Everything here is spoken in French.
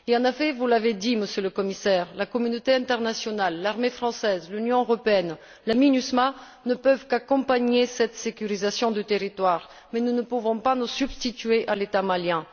En effet, vous l'avez dit, Monsieur le Commissaire, la communauté internationale, l'armée française, l'Union européenne, la MINUSMA ne peuvent qu'accompagner cette sécurisation du territoire, mais nous ne pouvons pas nous substituer à l'État malien.